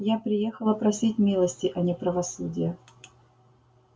я приехала просить милости а не правосудия